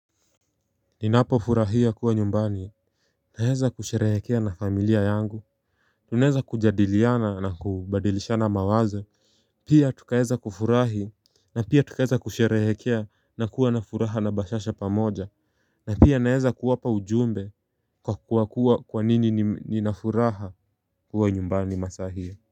Ninapo furahia kuwa nyumbani naweza kusherehekea na familia yangu Tunaeza kujadiliana na kubadilishana mawazo Pia tuka heza kufurahi na pia tuka heza kusherehekea na kuwa na furaha na bashasha pamoja na pia naeza kuwapa ujumbe kwa kuwa kuwa kwa nini nina furaha kuwa nyumbani masa hii.